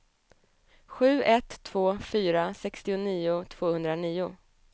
sju ett två fyra sextionio tvåhundranio